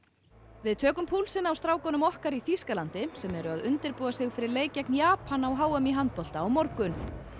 við tökum púlsinn á strákunum okkar í Þýskalandi sem eru að undirbúa sig fyrir leik gegn Japan á h m í handbolta á morgun